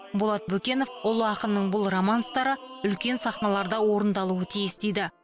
болат бөкенов ұлы ақынның бұл романстары үлкен сахналарда орындалуы тиіс дейді